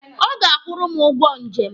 Ọ ga-akwụrụ m ụgwọ njem.